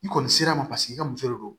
I kɔni sera ma paseke i ka muso de don